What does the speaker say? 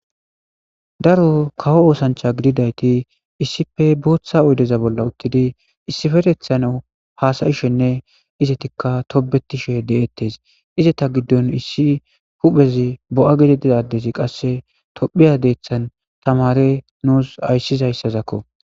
Daro kawo oosancha gididayti issipfe booththa oydeza bolla uttidi issiferethano hasayishenne izetikka tobetishe de7ettes ize ta giddon issi huphez bo7a getedidadesi qasse tophiya deethan tamare nuus ayssizayssazakko.